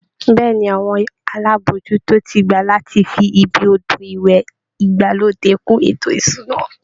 Bẹ́ẹ̀ ni, àwọn alábòójútó ti gbà láti fi ibi odò ìwẹ̀ ìgbàlódé kún ètò ìṣúná